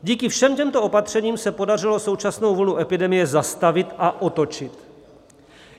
Díky všem těmto opatřením se podařilo současnou vlnu epidemie zastavit a otočit.